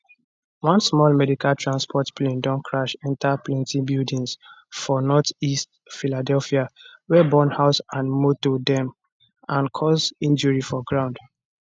one small medical transport plane don crash enta plenti buildings for northeast philadelphia wey burn house and motor dem and cause injury for ground